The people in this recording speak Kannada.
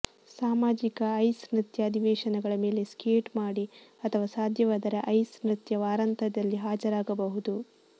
ಸಾಮಾಜಿಕ ಐಸ್ ನೃತ್ಯ ಅಧಿವೇಶನಗಳ ಮೇಲೆ ಸ್ಕೇಟ್ ಮಾಡಿ ಅಥವಾ ಸಾಧ್ಯವಾದರೆ ಐಸ್ ನೃತ್ಯ ವಾರಾಂತ್ಯದಲ್ಲಿ ಹಾಜರಾಗಬಹುದು